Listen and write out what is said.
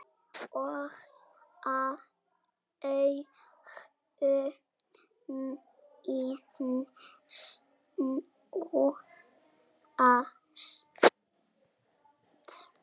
Og augu mín snúast.